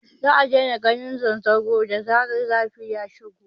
Za a daina ganin zanzaro da zarar zafi ya shigo